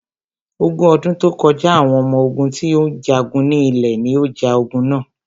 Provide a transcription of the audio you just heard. Ogun ọdún tó kọjá, àwọn ọmọ ogún tí ó ń jagun ní ilẹ̀ ní o ja ogun na.